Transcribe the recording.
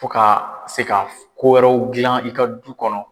Fo ka se ka kowɛrɛw gilan i ka du kɔnɔ.